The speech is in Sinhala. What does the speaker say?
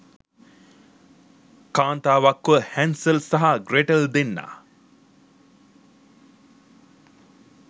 කාන්තාවක්ව හැන්සල් සහ ග්‍රේටල් දෙන්නා